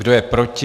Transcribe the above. Kdo je proti?